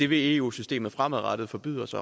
vil eu systemet fremadrettet forbyde os